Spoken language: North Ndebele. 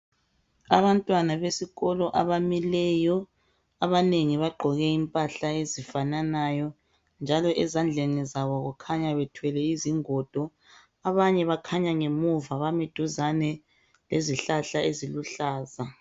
Abantwana besikolo abamileyo. Abanengi bagqoke impahla ezifananayo njalo ezandleni zabo kukhanya bethwele izingodo abanye bakhanya ngemuva bami duzane lezihlahla eziluhlaza.